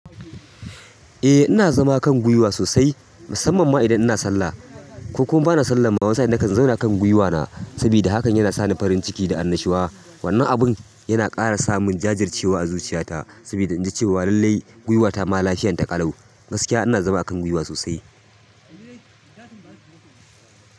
Eh ina zama kan guiwa sosai, musamman ma idan ina sallah. Ko kuma bana sallah, man wani sa'in na kan zauna kan guiwa na saboda hakan yana sani farin ciki da annashuwa. Wannan abun yana ƙara samun jajircewa a zuciya ta saboda in ji cewa lallai guiwa ta ma lahiyan ta ƙalau. Gaskiya ina zama akan guiwa sosai.